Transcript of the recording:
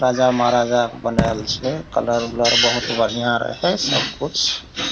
राजा-महाराजा बनायल छे कलर ऊलर बहुत बढ़िया रहे सब कुछ।